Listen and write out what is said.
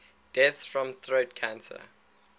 deaths from throat cancer